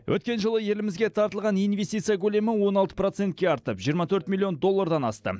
өткен жылы елімізге тартылған инвестиция көлемі он алты процентке артып жиырма төрт миллионн доллардан асты